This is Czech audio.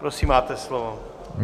Prosím, máte slovo.